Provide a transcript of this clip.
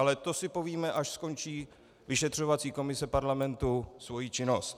Ale to si povíme, až skončí vyšetřovací komise parlamentu svoji činnost.